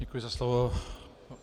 Děkuji za slovo.